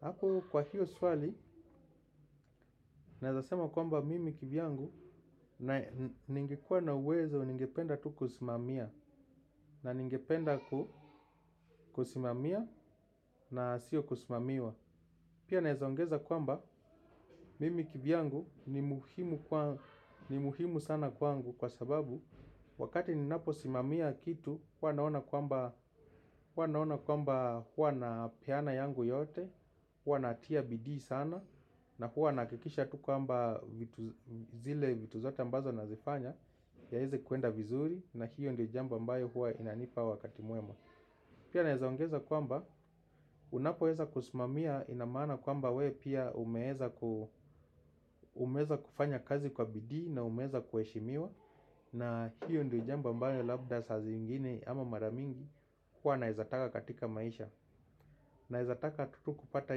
Apo kwa hiyo swali, naezasema kwamba mimi kivyangu, ningekuwa na uwezo ningependa tu kusimamia. Na ningependa kusimamia na sio kusimamiwa. Pia naeza ongeza kwamba mimi kivyangu ni muhimu sana kwangu kwa sababu wakati ninapo simamia kitu, huwa naona kwamba huwa napeana yangu yote. Huwa natia bidii sana. Na huwa nahakikisha tu kwamba zile vitu zote ambazo nazifanya yaeze kuenda vizuri. Na hiyo ndio jambo mbayo huwa inanipa wakati mwema. Pia naezaongeza kwamba unapoweza kusimamia ina maana kwamba wewe pia umeweza kufanya kazi kwa bidii. Na umeweza kuheshimiwa. Na hiyo ndio jambo ambayo labda saa ziingine ama mara mingi. Huwa naeza taka katika maisha. Naeza taka tu kupata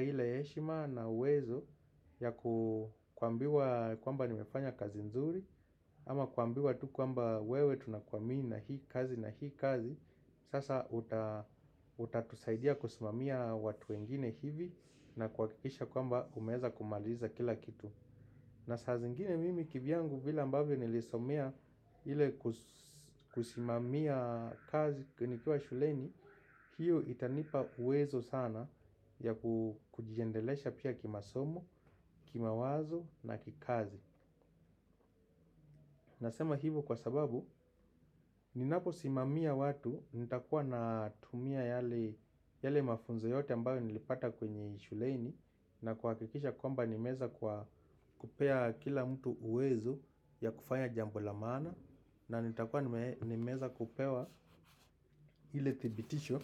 ile heshima na uwezo ya kuambiwa kwamba nimefanya kazi nzuri ama kuambiwa tu kwamba wewe tunakuamini na hii kazi na hii kazi. Sasa utatusaidia kusimamia watu wengine hivi na kuhakikisha kwamba umeweza kumaliza kila kitu. Na saa zingine mimi kivyangu vile ambavyo nilisomea ile kusimamia kazi nikiwa shuleni, hiyo itanipa uwezo sana ya kujiendelesha pia kimasomo, kimawazo na kikazi. Nasema hivo kwa sababu, ninaposimamia watu, nitakuwa natumia yale mafunzo yote ambayo nilipata kwenye shuleni na kuhakikisha kwamba nimeweza kupea kila mtu uwezo ya kufanya jambo la maana. Na nitakuwa nimeweza kupewa ile thibitisho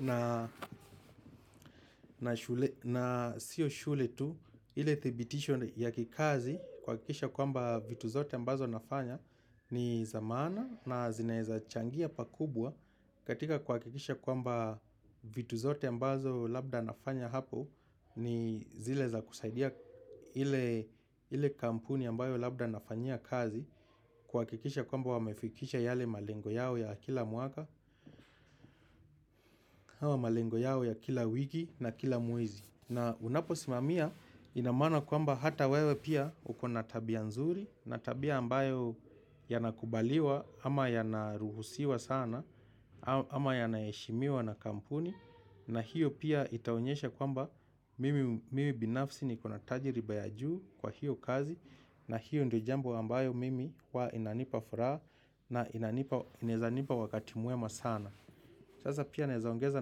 na sio shule tu ile thibitisho ya kikazi kuhakikisha kwamba vitu zote ambazo nafanya ni za maana na zinaeza changia pakubwa. Katika kuhakikisha kwamba vitu zote ambazo labda nafanya hapo ni zile za kusaidia ile kampuni ambayo labda nafanyia kazi kuhakikisha kwamba wamefikisha yale malengo yao ya kila mwaka, au malengo yao ya kila wiki na kila mwezi. Na unapo simamia ina maana kwamba hata wewe pia uko na tabia nzuri na tabia ambayo yanakubaliwa ama yanaruhusiwa sana ama yanaheshimiwa na kampuni na hiyo pia itaonyesha kwamba mimi binafsi nikona tajiriba ya juu kwa hiyo kazi na hiyo ndo jambo ambayo mimi huwa inanipa furaha na inaezanipa wakati mwema sana. Sasa pia naeza ongeza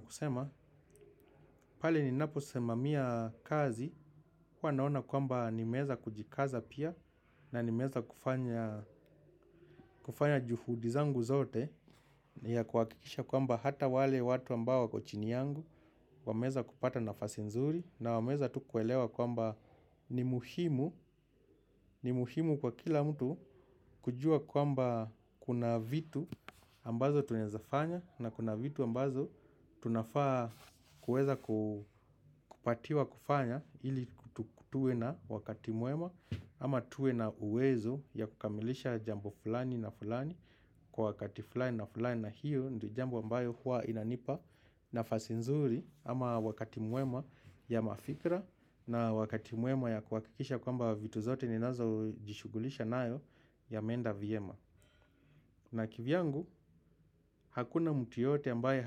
kusema, pale ninapo simamia kazi, huwa naona kwamba nimeweza kujikaza pia na nimeweza kufanya juhudi zangu zote ya kuhakikisha kwamba hata wale watu ambao wako chini yangu, wameweza kupata nafasi nzuri na wameweza tu kuelewa kwamba ni muhimu. Ni muhimu kwa kila mtu kujua kwamba kuna vitu ambazo tunaezafanya na kuna vitu ambazo tunafaa kuweza kupatiwa kufanya ili tuwe na wakati mwema ama tuwe na uwezo ya kukamilisha jambo fulani na fulani. Kwa wakati fulani na fulani na hiyo ndo jambo ambayo huwa inanipa nafasi nzuri ama wakati mwema ya mafikra na wakati mwema ya kuhakikisha kwamba vitu zote ninazo jishughulisha nayo ya meenda vyema. Na kivyangu hakuna mtu yoteyote ambaye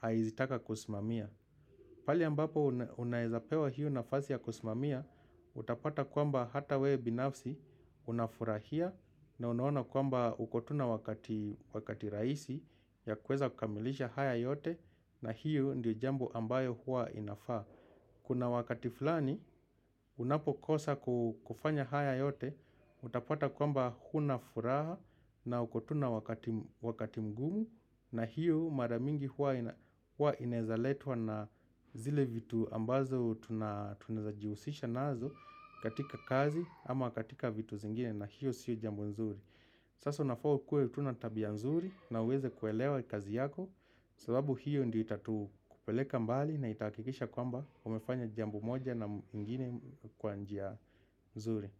haeizitaka kusimamia. Pale ambapo unaeza pewa hiyo nafasi ya kusimamia utapata kwamba hata wewe binafsi unafurahia na unaoana kwamba uko tu na wakati rahisi ya kuweza kukamilisha haya yote na hiyo ndiyo jambo ambayo hua inafaa. Kuna wakati fulani unapokosa kufanya haya yote utapata kwamba huna furaha na uko tu na wakati mgumu. Na hiyo maramingi huwa inaeza letwa na zile vitu ambazo tunaezajihusisha nazo katika kazi ama katika vitu zingine na hiyo sio jambo nzuri. Sasa unafaa tu ukue tu na tabia nzuri na uweze kuelewa kazi yako. Sababu hiyo ndyoi itatu kupeleka mbali na itahakikisha kwamba umefanya jambo moja na ingine kwa njia nzuri.